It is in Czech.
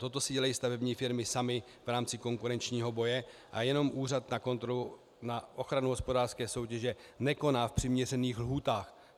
Toto si dělají stavební firmy samy v rámci konkurenčního boje a jenom Úřad na ochranu hospodářské soutěže nekoná v přiměřených lhůtách.